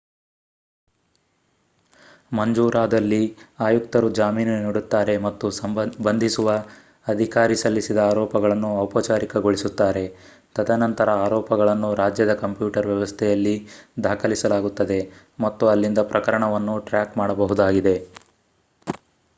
ಮಂಜೂರಾದಲ್ಲಿ ಆಯುಕ್ತರು ಜಾಮೀನು ನೀಡುತ್ತಾರೆ ಮತ್ತು ಬಂಧಿಸುವ ಅಧಿಕಾರಿ ಸಲ್ಲಿಸಿದ ಆರೋಪಗಳನ್ನು ಔಪಚಾರಿಕಗೊಳಿಸುತ್ತಾರೆ ತದನಂತರ ಆರೋಪಗಳನ್ನು ರಾಜ್ಯದ ಕಂಪ್ಯೂಟರ್ ವ್ಯವಸ್ಥೆಯಲ್ಲಿ ದಾಖಲಿಸಲಾಗುತ್ತದೆ ಮತ್ತು ಅಲ್ಲಿಂದ ಪ್ರಕರಣವನ್ನು ಟ್ರ್ಯಾಕ್ ಮಾಡಬಹುದಾಗಿದೆ